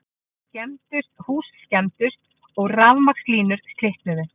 Hús skemmdust og rafmagnslínur slitnuðu